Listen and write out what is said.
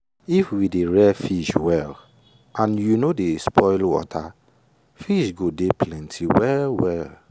if we dey rear fish well and you no dey spoil water fish go dey plenty well well.